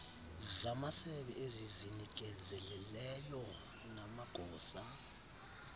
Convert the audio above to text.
zamasebe ezizinikezeleyo namagosa